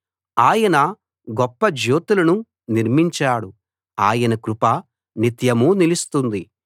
ఆయన గొప్ప జ్యోతులను నిర్మించాడు ఆయన కృప నిత్యమూ నిలుస్తుంది